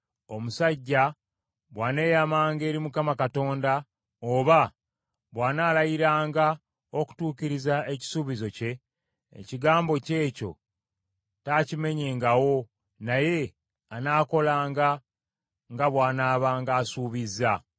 Omusajja bw’aneeyamanga eri Mukama Katonda, oba bw’anaalayiranga okutuukiriza ekisuubizo kye, ekigambo kye ekyo taakimenyengawo, naye anaakolanga nga bw’anaabanga asuubizza.